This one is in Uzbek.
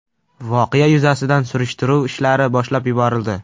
Voqea yuzasidan surishtiruv ishlari boshlab yuborildi.